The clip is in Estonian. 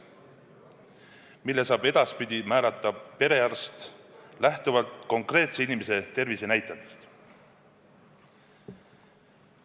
Selle saab edaspidi määrata perearst, lähtuvalt konkreetse inimese tervisenäitajatest.